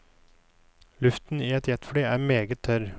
Luften i et jetfly er meget tørr.